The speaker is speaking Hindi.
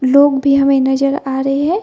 लोग भी हमें नजर आ रहे हैं ।